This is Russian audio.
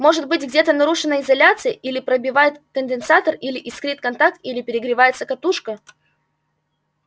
может быть где-то нарушена изоляция или пробивает конденсатор или искрит контакт или перегревается катушка